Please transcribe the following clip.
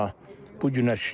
Bu günə şükür.